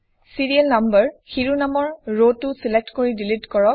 Cherial number শিৰোনামৰ ৰটো select কৰি ডিলিট কৰক